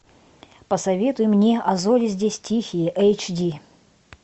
посоветуй мне а зори здесь тихие эйч ди